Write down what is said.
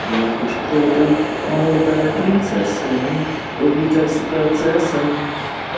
я хочу твой друг молодая принцесса не увлекайся процессом